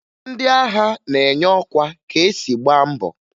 Ndị agha na-enye ọkwa ka e si gbaa mbọ